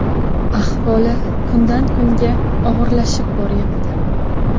Ahvoli kundan kunga og‘irlashib boryapti.